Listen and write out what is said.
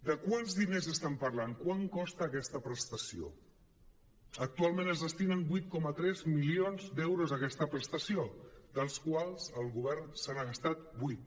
de quants diners estem parlant quant costa aquesta prestació actualment es destinen vuit coma tres milions d’euros a aquesta prestació dels quals el govern se n’ha gastat vuit